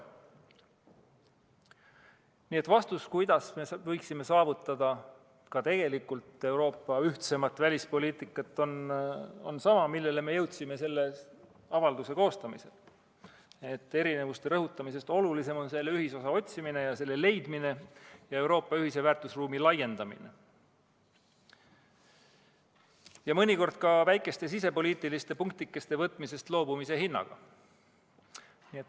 Nii et vastus sellele, kuidas me võiksime saavutada ka tegelikult Euroopa ühtsemat välispoliitikat, on sama, milleni me jõudsime selle avalduse koostamisel: erinevuste rõhutamisest olulisem on ühisosa otsimine ja leidmine ning Euroopa ühise väärtusruumi laiendamine, mõnikord ka väikeste sisepoliitiliste punktikeste võtmisest loobumise hinnaga.